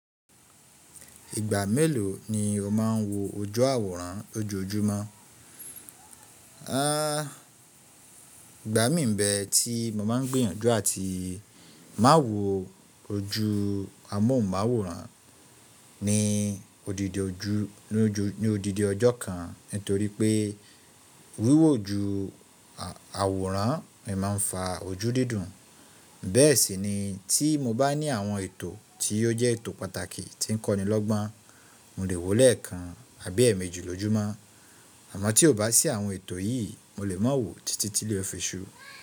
Ìgbà mélòó ni o máa ń wo ojú àwòrán lójoójúmọ́? Ìgbà mí n bẹ tí mo máa ń gbìyànjú àti má wò ojú amóhunmáwòrán ní odidi ọjọ́ kan nítorí pé wíwò ju àwòrán mi máa ń fa ojú dídùn. Bẹ́ẹ̀ sì ni tí mo bá ní àwọn ètò tí ó jẹ́ ètò pàtàkì tí ń kọ́ni lọ́gbọ́n, mo lè wòó lẹ́ẹ̀kan àbí èèmejì lójoójúmọ́. Àmọ́ tí ò bá sí àwọn ètò yìí, mo lè má wò títí tí ilé o fi sù.